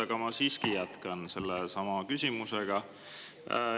Aga ma siiski jätkan sellesama küsimusega.